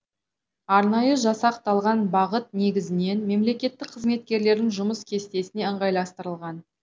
арнайы жасақталған бағыт негізінен мемлекеттік қызметкерлердің жұмыс кестесіне ыңғайластырылған